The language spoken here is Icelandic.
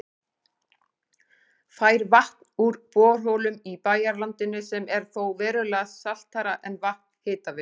Fær vatn úr borholum í bæjarlandinu sem er þó verulega saltara en vatn Hitaveitu